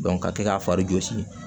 ka kɛ ka fari jɔsi